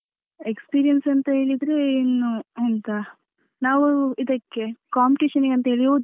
Experience ಅಂತ ಹೇಳಿದ್ರೆ ಇನ್ನು ಎಂತ ನಾವು ಇದಕ್ಕೆ competition ಗೆ ಅಂತ ಹೇಳಿ ಹೋದದ್ದು.